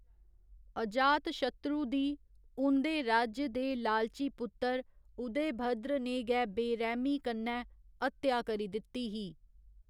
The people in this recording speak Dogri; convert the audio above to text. अजातशत्रु दी, उं'दे राज्य दे लालची पुत्तर उदयभद्र ने गै बेरैह्मी कन्नै हत्या करी दित्ती ही।